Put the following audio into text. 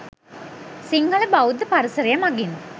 සිංහල බෞද්ධ පරිසරය මගින්